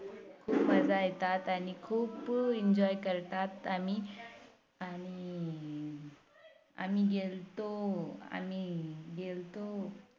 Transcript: खूप मजा येतात आणि खूप Enjoy करतात आणि आणि आम्ही गेल्तो आम्ही गेल्तो